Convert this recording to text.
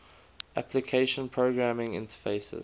application programming interfaces